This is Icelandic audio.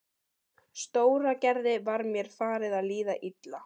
Stóragerði var mér farið að líða illa.